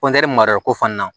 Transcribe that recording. mara ko fana na